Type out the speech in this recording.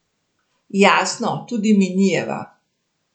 Jasno, tudi minijeva.